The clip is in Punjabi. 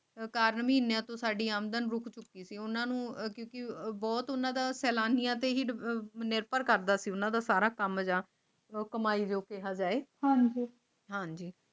ਸਰਕਾਰ ਨਵੀਂਆਂ ਤੁਹਾਡੀ ਆਮਦਨ ਗੁਪਚੁੱਪ ਕਿਉਂ ਉਨ੍ਹਾਂ ਨੂੰ ਹੀ ਸੀ ਉਹ ਬਹੁਤ ਉਨ੍ਹਾਂ ਦਾ ਸੈਲਾਨੀਆਂ ਤੇ ਹੀ ਨਿਰਭਰ ਕਰਦਾ ਹੈ ਨਿਰਭਰ ਕਰਦਾ ਸੀ ਹਾਂ ਜੀ